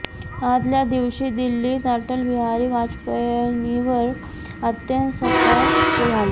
आदल्या दिवशी दिल्लीत अटल बिहारी वाजपेयींवर अंत्यस्कार झाले